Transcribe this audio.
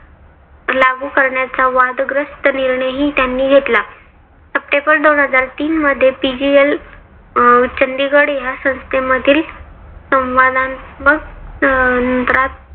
लागू करण्याचा वादग्रस्त निर्णयही त्यांनी घेतला. सप्टेंबर दोन हजार तीन मध्ये PGL चंडीगड ह्या संस्थेमधील